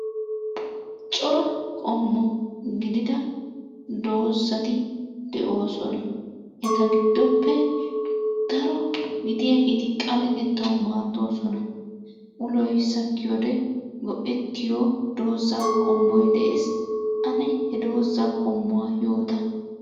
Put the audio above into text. Cora qommo gidida doozati de'oosona. Eta giddoppe daro gidiyageeti xaletettawu maaddoosona, uloy sakkiyode go'ettiyo doozaaa qommoy de'ees ane he doozaa qommuwa yoota.